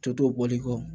Toto bɔli kɔ